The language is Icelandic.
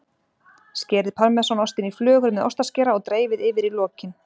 Skerið parmesanostinn í flögur með ostaskera og dreifið yfir í lokin.